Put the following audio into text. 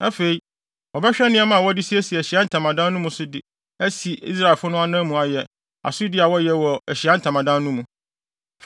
Afei, wɔbɛhwɛ nneɛma a wɔde siesie Ahyiae Ntamadan mu no so de asi Israelfo no anan mu ayɛ asodi a wɔyɛ wɔ Ahyiae Ntamadan no mu.